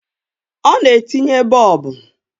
Ọ na-etinye Boobu